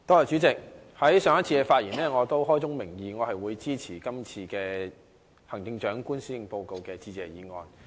主席，我上次發言時，已開宗明義地表示我會支持這項有關行政長官施政報告的致謝議案。